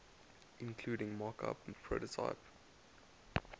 including mockup prototype